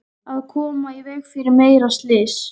Að koma í veg fyrir meira slys.